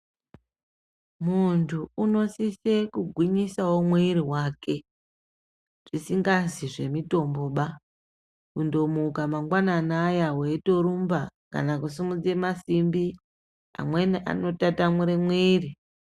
Muntu unosise kugwinyisawo mwiri wake zvisingazi zvemutombobakundomuka mangwanani aya weitorumba kana kusimudze masimbi amweni anotatamure mwiri.